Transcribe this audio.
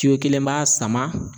kelen b'a sama